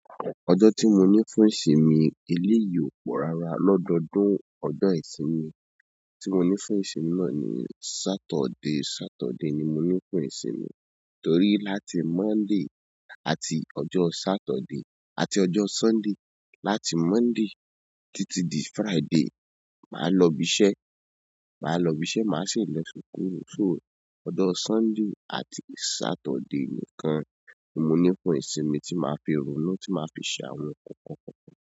Ọjọ́ tí mo ní fún ìsinmi, eléyìí ò pọ̀ rárá. Lọ́dọdún ọjọ̀ ìsinmi tí mo ní fún ìsinmi náà ni Sátọ̀dé. Sátọ̀dé ni mo ní fún ìsinmi torí láti Monday àti ọjọ́ Saturday-- àti ọjọ́ Sunday, láti Monday títí di Friday, màá lọ ibi iṣẹ́. Màá lọ ibi iṣẹ́, màá sì lọ sukuru. Ọjọ Sunday àti Saturday nìkan ni mo ní fún ìsinmi tí màá fi ronú, tí màá fi ṣe àwọn nǹkan kọ̀ọ̀kan.